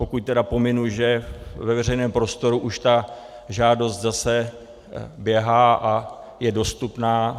Pokud tedy pominu, že ve veřejném prostoru už ta žádost zase běhá a je dostupná.